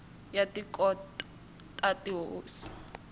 ya tikhoto ta tihosi na